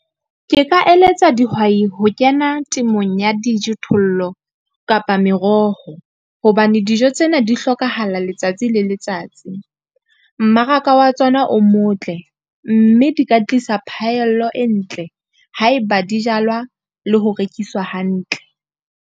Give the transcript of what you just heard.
Ke ka eletsa dihwai ho kena temong ya dijothollo kapa meroho, hobane dijo tsena di hlokahala letsatsi le letsatsi. Mmaraka wa tsona o motle, mme di ka tlisa phaello e ntle, haeba di jalwa le ho rekiswa hantle.